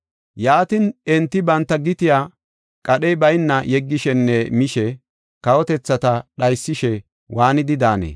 Yaatin, enti banta gitiya qadhey bayna yeggishenne mishi kawotethata dhaysishe waanidi daanee?